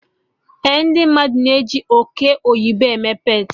Eh, ndị mmadụ na-eji oke oyibo eme peetị